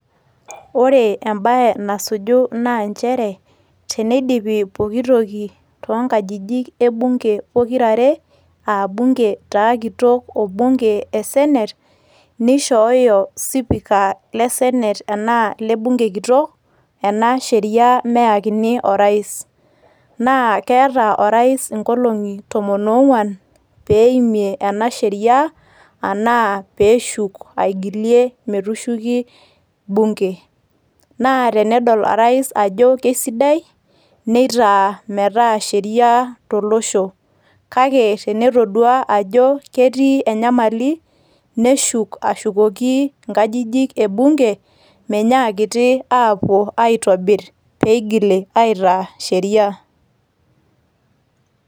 Ore ebae nasuju na njere, teneidipi pooki toki, toonkajijik e bunge pokirare, ah bunge taa kitok o bunge e senate, nishooyo sipika le senate enaa le bunge kitok, ena sheria meyakini o rais. Na keeta o rais inkolong'i tomon ong'uan, pe eimie ena sheria anaa peshuk aigilie metushuki bunge. Naa tenedol o rais ajo kesidai, neitaa metaa sheria tolosho. Kake tenetodua ajo ketii enyamali, neshuk ashukoki inkajijik e bunge ,menyaakiti apuo aitobir pe igili aitaa sheria.